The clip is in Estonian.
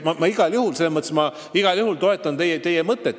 Nii et ma igal juhul toetan teie mõtet.